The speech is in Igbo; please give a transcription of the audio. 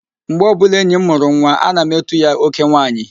Mgbe ọbụla enyi m mụrụ nwa, ana m etu ya, "oke nwaanyị"